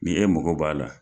N e mɔgo b'a la